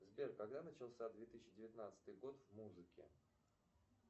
сбер когда начался две тысячи девятнадцатый год в музыке